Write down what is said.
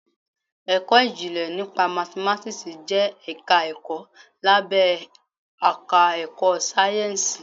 Ẹ̀kọ́ ìjìnlẹ̀ nípa Mathematics jẹ́ ẹ̀ka ẹ̀kọ́ lábé àká ẹ̀kọ́ sáyẹ́ǹsìì.